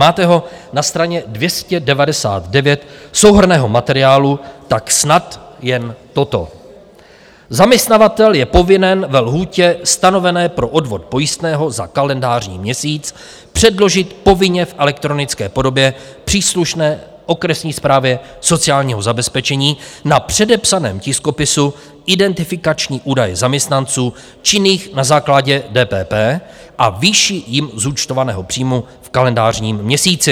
Máte ho na straně 299 souhrnného materiálu, tak snad jen toto: Zaměstnavatel je povinen ve lhůtě stanovené pro odvod pojistného za kalendářní měsíc předložit povinně v elektronické podobě příslušné okresní správě sociálního zabezpečení na předepsaném tiskopisu identifikační údaje zaměstnanců činných na základě DPP a výši jim zúčtovaného příjmu v kalendářním měsíci.